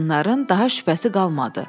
Qadınların daha şübhəsi qalmadı.